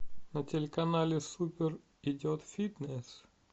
на телеканале супер идет фитнес